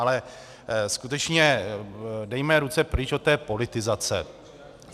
Ale skutečně dejme ruce pryč od té politizace.